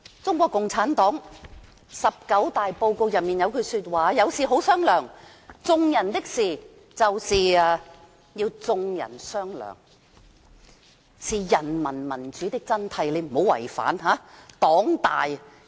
中國共產黨"十九大報告"中有句話："有事好商量，眾人的事情由眾人商量，是人民民主的真諦。